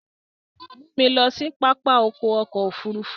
Mú mi lọ sí pápá ọkọ̀ òfurufú!